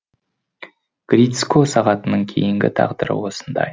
грицько сағатының кейінгі тағдыры осындай